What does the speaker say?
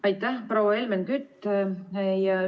Aitäh, proua Helmen Kütt!